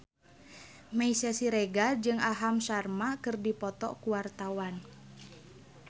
Meisya Siregar jeung Aham Sharma keur dipoto ku wartawan